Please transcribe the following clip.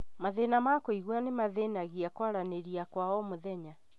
Mathĩna ma kũigua nĩmathĩnagia kwaranĩria kwa o mũthenya